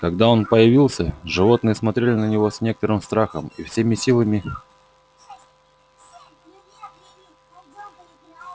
когда он появился животные смотрели на него с некоторым страхом и всеми силами